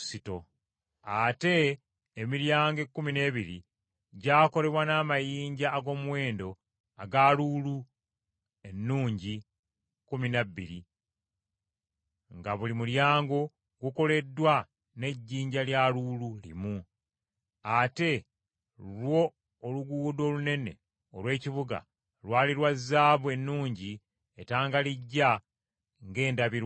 Ate emiryango ekkumi n’ebiri gyakolebwa n’amayinja ag’omuwendo aga luulu ennungi kkumi n’abiri, nga buli mulyango gukoleddwa n’ejjinja lya luulu limu. Ate lwo oluguudo olunene olw’ekibuga lwali lwa zaabu ennungi etangalijja ng’endabirwamu.